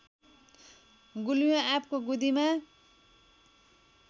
गुलियो आँपको गुदीमा